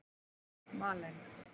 Malen